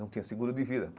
Não tinha seguro de vida.